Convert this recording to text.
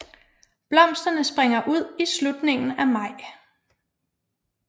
Blomsterne springer ud i slutningen af maj